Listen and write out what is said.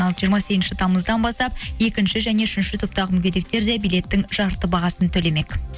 ал жиырма сегізінші тамыздан бастап екінші және үшінші топтағы мүгедектер де билеттің жарты бағасын төлемек